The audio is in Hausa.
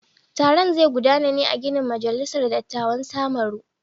Taron zai gudana ne a ginin majalisar dattawan samaru.